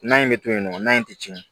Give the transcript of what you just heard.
Na in bɛ to yen nɔ in tɛ tiɲɛ